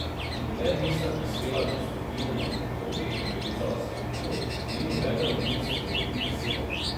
Dokler nista prispela do vzpetine nad vrtovi in privezala svojih konj, ni nobeden od njiju spregovoril besede.